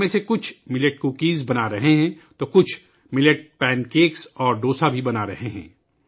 ان میں سے کچھ ملٹ کوکیز بنا رہے ہیں، جب کہ کچھ ملٹ پین کیک اور ڈوسا بھی بنا رہے ہیں